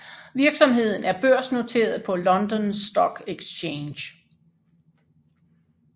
Virksomheden er børsnoteret på London Stock Exchange